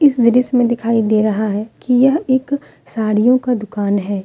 इस दृश्य मे दिखाई दे रहा है कि यह एक साड़ियों का दुकान है।